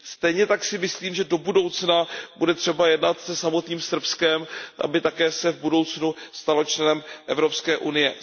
Stejně tak si myslím, že do budoucna bude třeba jednat se samotným Srbskem, aby se v budoucnu také stalo členem Evropské unie.